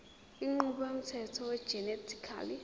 inqubo yomthetho wegenetically